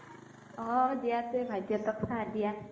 হ'ব দিয়া তুমি ভাইটি হতক চাহ দিয়া